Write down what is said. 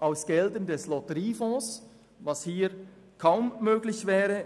aus Geldern des Lotteriefonds, was hier, in der Höhe von 800 Mio. Franken kaum möglich wäre.